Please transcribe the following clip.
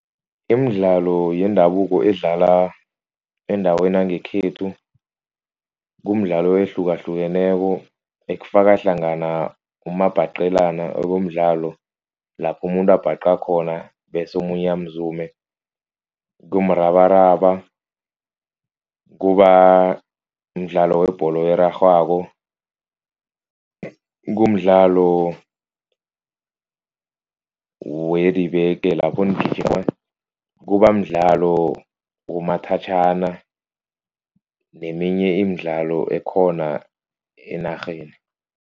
Imidlalo yendabuko edlalwa endaweni yangekhethu. Kumdlalo ehlukahlukeneko ekufaka hlangana umabhaqelana. Okumdlalo lapha umuntu abhaqa khona bese omunye amzume, kumrabaraba, kuba mdlalo webholo erarhwako. Kumdlalo wedibeke lapho nigijima, kuba mdlalo womathatjhana neminye imidlalo ekhona enarheni.